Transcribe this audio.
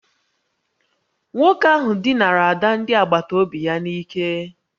Nwoke ahụ dinara ada ndị agbata obi ya n'ike